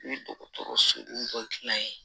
I ye dɔgɔtɔrɔso dɔ dilan yen